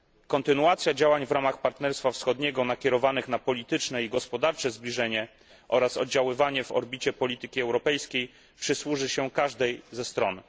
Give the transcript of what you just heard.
Kontynuacja działań w ramach Partnerstwa Wschodniego, nakierowanych na polityczne i gospodarcze zbliżenie oraz oddziaływanie w orbicie polityki europejskiej przysłuży się każdej ze stron.